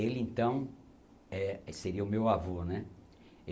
Ele, então, eh aí seria o meu avô, né?